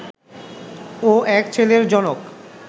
ও এক ছেলের জনক